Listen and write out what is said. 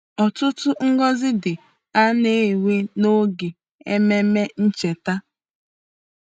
Ọtụtụ ngọzi dị a na-enwe n’oge Ememe Ncheta.